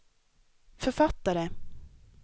författare